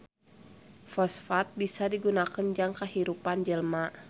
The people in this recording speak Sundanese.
Fosfat bisa digunakeun jang kahirupan jelema